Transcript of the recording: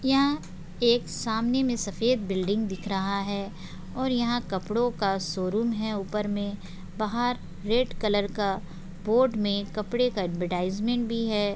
यहाँ एक सामने में एक सफेद बिल्डिंग दिख रहा है और यहाँ कपड़ों का शोरूम है ऊपर में बाहर रेड कलर का बोर्ड में कपड़े का एडवर्टाइजमेंट भी है।